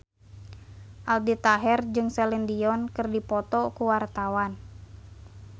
Aldi Taher jeung Celine Dion keur dipoto ku wartawan